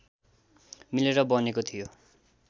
मिलेर बनेको थियो